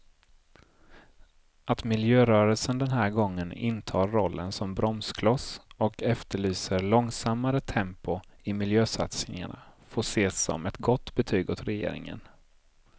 Att miljörörelsen den här gången intar rollen som bromskloss och efterlyser långsammare tempo i miljösatsningarna får ses som ett gott betyg åt regeringen.